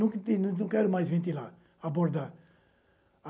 Não não quero mais ventilar, abordar.